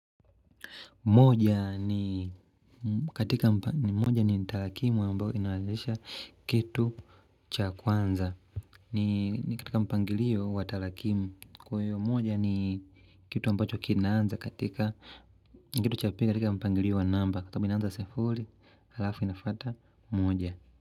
Moja ni katika, moja ni talakimu ambayo inawezesha kitu cha kwanza. Ni katika mpangilio wa talakimu kwayo moja ni kitu ambacho kinanza katika ni kitu cha pika katika mpangilio wa namba kama inanza sefuri halafu inafata moja.